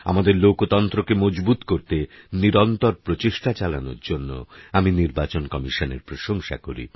আমাদের লোকতন্ত্রকে মজবুত করতে নিরন্তর প্রচেষ্টা চালানোর জন্যে আমি নির্বাচন কমিশনের প্রশংসা করি